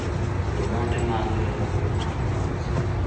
Andũ othe maagĩrĩirũo kũrĩma mboga mũciĩ